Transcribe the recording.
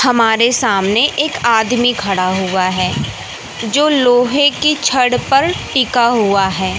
हमारे सामने एक आदमी खड़ा हुआ है जो लोहे की छड़ पर टिका हुआ है।